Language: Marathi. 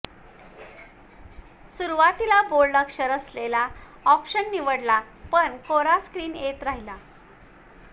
सुरवातीला बोल्ड अक्षर असलेला ऑप्शन निवडला पण मग कोरा स्क्रिन येत राहिला